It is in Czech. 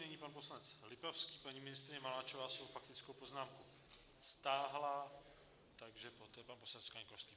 Nyní pan poslanec Lipavský, paní ministryně Maláčová svou faktickou poznámku stáhla, takže poté pan poslanec Kaňkovský.